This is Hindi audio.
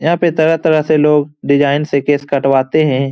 यहाँ पे तरह-तरह से लोग डिजाइन से केश कटवाते है।